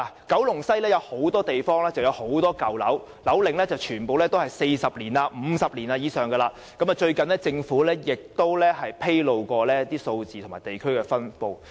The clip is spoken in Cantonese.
九龍西有很多舊樓，樓齡超過40年或50年，而政府在最近亦曾披露有關的數字和分布情況。